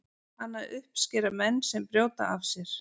hana uppskera menn sem brjóta af sér